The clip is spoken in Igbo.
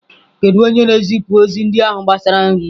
Kedu onye na-ezipụ ozi ndị ahụ gbasara nri?